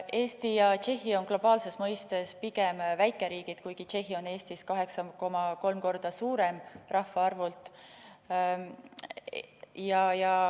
Eesti ja Tšehhi on globaalses mõistes pigem väikeriigid, kuigi Tšehhi on rahvaarvult Eestist 8,3 korda suurem.